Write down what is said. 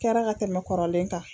Kɛra ka tɛmɛ kɔrɔlen kan